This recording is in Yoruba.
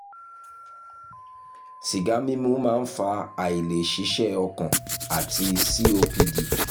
sìgá mímu máa ń fa àìlè ṣiṣẹ́ ọkàn àti copd